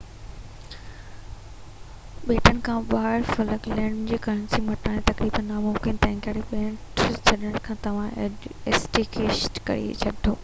ٻيٽن کان ٻاهر فلڪ لينڊ جي ڪرنسي مٽائڻ تقريبن ناممڪن آهي تنهن ڪري ٻيٽ ڇڏڻ کان پهريان ايڪسچينج ڪري وٺو